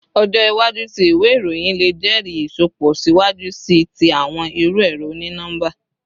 Ọjọ iwaju ti iwe iroyin le jẹri isọpọ siwaju sii ti awọn iru ẹrọ oni-nọmba